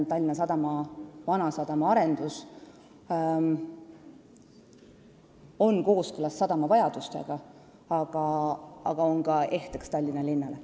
Vanasadama arendamine käib kooskõlas sadama vajadustega, aga see on ka ehteks Tallinna linnale.